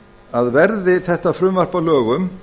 að verði þetta frumvarp að lögum